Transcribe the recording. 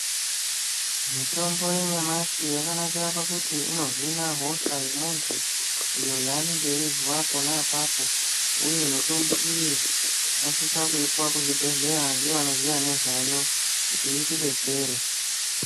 Mitombo yanyamashi yakanakira kuti inohina hosha yemuntu yaanenge eizwa ponapapo uye mitombo iyi tinosisa kuipiwa kuzvibhedhlera nevanoziya nezvayo kuti itibetsere.